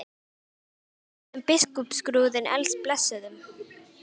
En hvernig færi honum biskupsskrúðinn blessuðum?